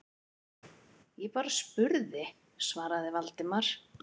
Ég bara spurði- svaraði Valdimar.